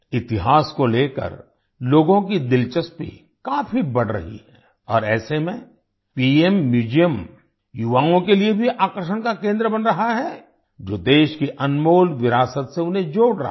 इतिहास को लेकर लोगों की दिलचस्पी काफी बढ़ रही है और ऐसे में पीएम म्यूजियम युवाओं के लिए भी आकर्षण का केंद्र बन रहा है जो देश की अनमोल विरासत से उन्हें जोड़ रहा है